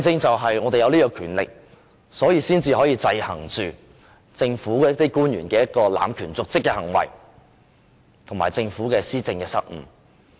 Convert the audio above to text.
正因為我們有這種權力，才可以制衡政府官員濫權瀆職的行為，以及政府施政的失誤。